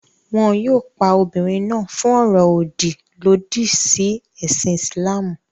Wọn yóò pa obìnrin náà fún ọ̀rọ̀-òdì lòdì sí ẹ̀sìn Ìsìlámù.